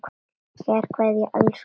Kær kveðja, elsku afi.